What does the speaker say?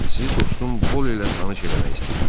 Sizi dostum Bola ilə tanış eləmək istəyirəm.